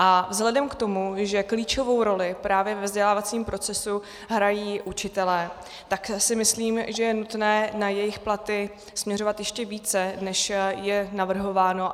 A vzhledem k tomu, že klíčovou roli právě ve vzdělávacím procesu hrají učitelé, tak si myslím, že je nutné na jejich platy směřovat ještě více, než je navrhováno.